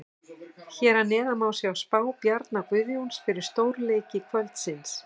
Hér að neðan má sjá spá Bjarna Guðjóns fyrir stórleiki kvöldsins.